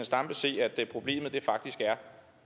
stampe se at problemet faktisk er